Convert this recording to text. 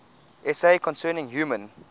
essay concerning human